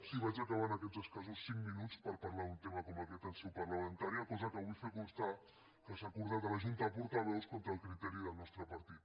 sí vaig acabant aquests escassos cinc minuts per parlar d’un tema com aquest en seu parlamentària cosa que vull fer constar que s’ha acordat a la junta de portaveus contra el criteri del nostre partit